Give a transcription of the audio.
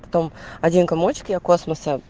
один комочек якласс